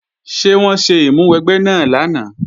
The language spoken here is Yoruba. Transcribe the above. Ṣé wọ́n ṣe ìmúwẹgbẹ́ náà lánàá?